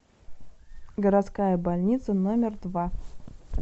городская больница номер два